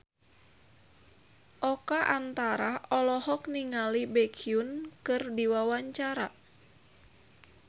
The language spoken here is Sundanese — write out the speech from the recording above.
Oka Antara olohok ningali Baekhyun keur diwawancara